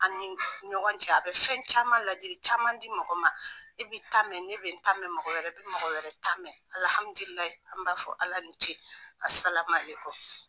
An' ni ɲɔgɔn cɛ a bɛ fɛn caman ladili caman di mɔgɔ ma. E b'i ta mɛ ne be n ta mɛ, mɔgɔ wɛrɛ bi mɔgɔ wɛrɛ ta mɛ. an b'a fɔ Ala ni ce. A' salamaleku!